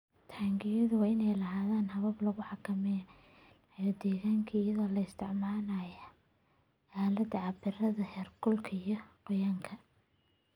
Taangiyada waa inay lahaadaan habab lagu xakameynayo deegaanka iyadoo la isticmaalayo aaladaha cabbira heerkulka iyo qoyaanka.